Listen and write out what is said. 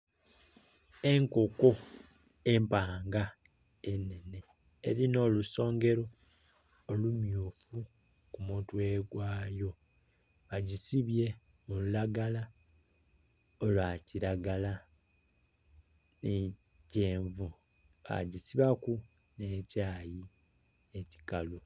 Enkoko empanga enene erina olusongero olumyufu ku mutwe gwayo. Bagisibye mu lulagala olwa kilagala ni kyenvu bagisibaku nekyayi ekikalu.